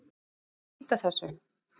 Þarf ekki að flýta þessu?